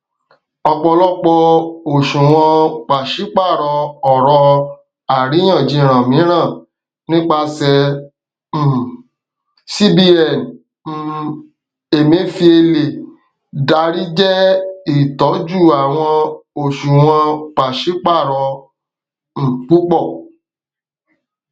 ọpọlọpọ oṣuwọn paṣipaarọ ọrọ ariyanjiyan miiran nipasẹ um cbn ti um emefiele dari jẹ itọju awọn oṣuwọn paṣipaarọ um pupọ